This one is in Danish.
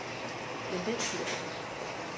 Men den tid er forbi.